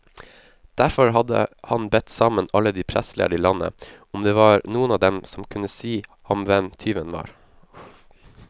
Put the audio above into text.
Derfor hadde han bedt sammen alle de prestlærde i landet, om det var noen av dem som kunne si ham hvem tyven var.